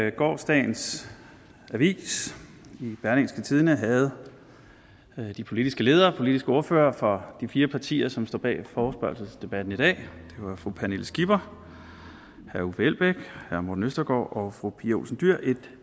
i gårsdagens avis berlingske havde de politiske ledere de politiske ordførere for de fire partier som står bag forespørgselsdebatten i dag det var fru pernille skipper herre uffe elbæk herre morten østergaard og fru pia olsen dyhr et